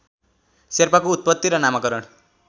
शेर्पाको उत्पत्ति र नामकरण